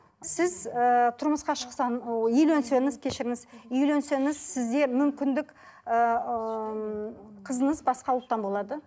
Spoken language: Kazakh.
сіз ііі тұрмысқа шықсаң ыыы үйленсеңіз кешіріңіз үйленсеңіз сізде мүмкіндік ыыы қызыңыз басқа ұлттан болады